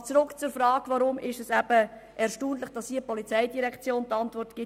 Aber zurück zur Frage, weshalb es erstaunlich ist, dass die POM zu dieser Motion die Antwort gibt.